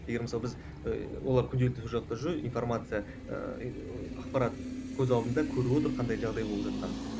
егер мысалы біз ыыы олар күнделікті информация ыыы ақпарат көз алдында көріп отыр қандай жағдай болып жатқанын